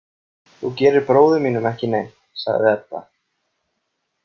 Þú gerir bróður mínum ekki neitt, sagði Edda.